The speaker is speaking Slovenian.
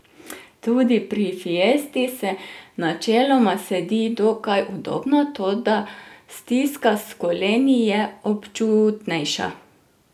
Tudi pri fiesti se načeloma sedi dokaj udobno, toda stiska s koleni je občutnejša.